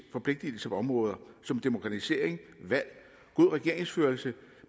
forpligtelser på områder som demokratisering valg god regeringsførelse